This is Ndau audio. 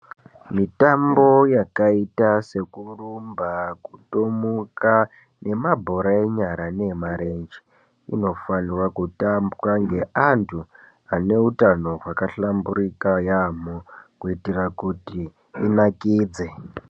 Mitombo yakaita sekurumba, kutomuka nemabhora enyara nee marenje inofanirwa kutambwa ngeanhu aneutano hwakahlamburika kuitira kuti zvinakidze.